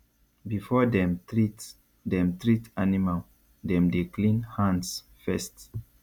before dem treat dem treat animal dem dey clean hands first